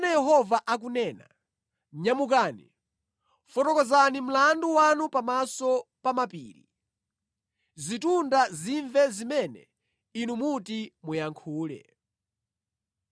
Tamverani zimene Yehova akunena: “Nyamukani, fotokozani mlandu wanu pamaso pa mapiri; zitunda zimve zimene inu muti muyankhule.